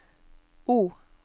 O